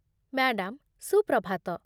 madam, Suprabhat